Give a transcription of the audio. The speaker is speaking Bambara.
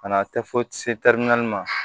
Ka na tɛ fo se naani ma